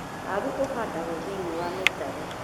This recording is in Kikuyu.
Waru ũhandagwo thĩiniĩ wa mĩtaro.